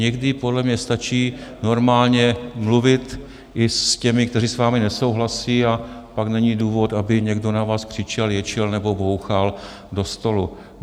Někdy podle mě stačí normálně mluvit i s těmi, kteří s vámi nesouhlasí, a pak není důvod, aby někdo na vás křičel, ječel nebo bouchal do stolu.